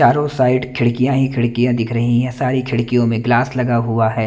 चारों साईड खिड़किया ही खिड़किया दिख रही है सारी खिड़कियों मे ग्लास लगा हुआ है।